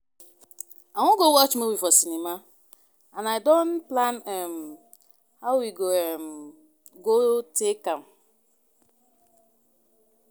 I wan go watch movie for cinema and I don plan um how we um go take am